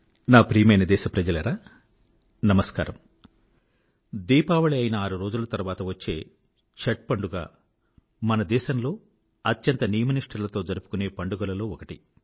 నా ప్రియమైన దేశ ప్రజలారా నమస్కారం దీపావళి అయిన ఆరు రోజుల తర్వాత వచ్చే ఛాత్ పండుగ మన దేశంలో అత్యంత నియమ నిష్ఠలతో జరుపుకునే పండుగలలో ఒకటి